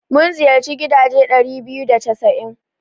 Mun ziyarci gidaje ɗari biyu da casa'in.